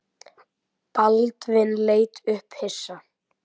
Baldvin leit upp hissa.